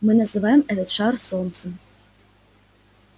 мы называем этот шар солнце